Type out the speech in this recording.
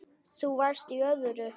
Þú varst í öðru.